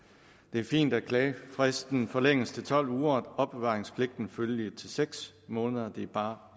er fint at klagefristen forlænges til tolv uger og opbevaringspligten følgelig til seks måneder det er bare